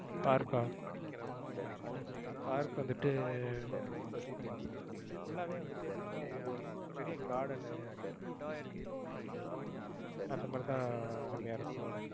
park ஆ park உ வந்துட்டு full ஆவே வந்துட்டு எப்படின்னா ஒரு பெரிய garden உ அந்த மாதிரி தான் ரம்யா இருக்கும்.